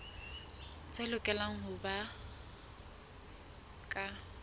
tse lokelang ho ba ka